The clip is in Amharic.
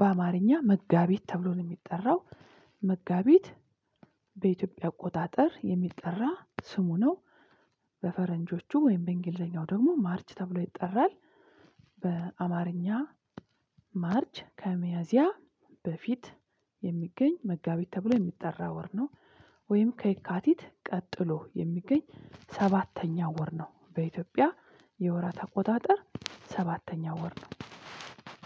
በአማርኛ መጋቢት ተብሎ ነው የሚጠራው። መጋቢት በኢትዮጵያ አቆጣጠር የሚጠራ ስሙ ነው። በፈረንጆቹ ወይም በእንግሊዘኛው ደግሞ ማርች ተብሎ ይጠራል። በአማርኛ ማርች ከመያዚያ በፊት የሚገኝ መጋቢት ተብሎ የሚጠራ ወር ነው። ወይም ከየካቲት ቀጥሎ የሚገኝ ሰባተኛ ወር ነው በኢትዮጵያ የወራት ኣቆጣጠር ሰባተኛው ወር ነው።